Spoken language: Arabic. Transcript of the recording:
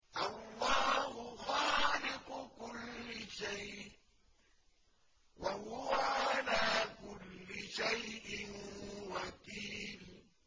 اللَّهُ خَالِقُ كُلِّ شَيْءٍ ۖ وَهُوَ عَلَىٰ كُلِّ شَيْءٍ وَكِيلٌ